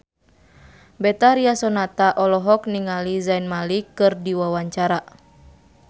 Betharia Sonata olohok ningali Zayn Malik keur diwawancara